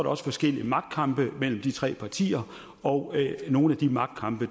også forskellige magtkampe mellem de tre partier og nogle af de magtkampe